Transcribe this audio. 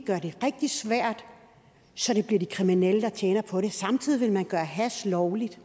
gøre det rigtig svært så det bliver de kriminelle der tjener på det men samtidig vil man gøre hash lovligt